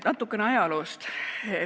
Natukene ajaloost.